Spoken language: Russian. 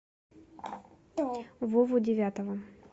вову девятова